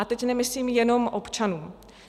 A teď nemyslím jenom občanům.